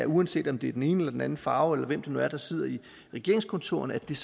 uanset om det er den ene eller den anden farve eller hvem det nu er der sidder i regeringskontorerne er